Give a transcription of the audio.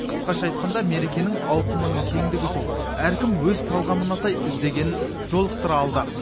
қысқаша айтқанда мерекенің ауқымының кеңдігі сол әркім өз талғамына сай іздегенін жолықтыра алды